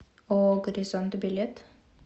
ооо горизонт билет